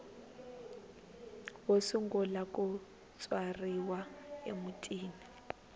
wo sungula ku tswariwa emutini